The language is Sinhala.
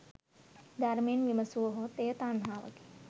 ධර්මයෙන් විමසුවහොත් එය තණ්හාවකි.